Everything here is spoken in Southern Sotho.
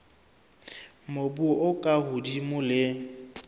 mobu o ka hodimo le